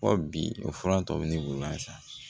Ko bi o fura tɔ bɛ ne bolo yan san